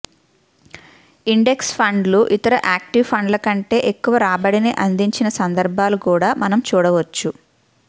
index ఫండ్లు ఇతర active ఫండ్ల కంటే ఎక్కువ రాబడిని అందిచిన సందర్భాలు కూడా మనం చూడవచ్చు